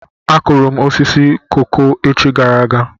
Akụrụ m osisi koko echi gara aga.